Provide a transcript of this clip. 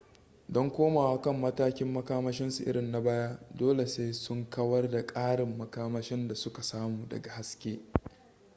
don komowa kan matakin makamashinsu irin na baya dole sai sun kawar da ƙarin makamashin da suka samu daga haske